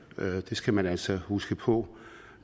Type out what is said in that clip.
det skal man altså huske på